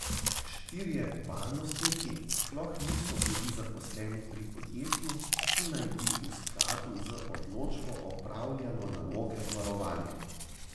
Štirje varnostniki sploh niso bili zaposleni pri podjetju, ki naj bi v skladu z odločbo opravljalo naloge varovanja.